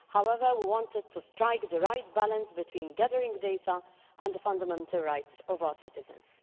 However, we wanted to strike the right balance between gathering data and the fundamental rights of our citizens.